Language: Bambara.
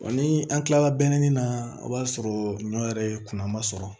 Wa ni an kilala na o b'a sɔrɔ ɲɔ yɛrɛ ye kunnama sɔrɔ